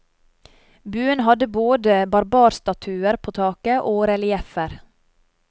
Buen hadde både barbarstatuer på taket og relieffer.